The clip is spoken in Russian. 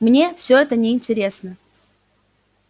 мне всё это неинтересно